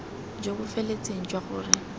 jo bo feletseng jwa gore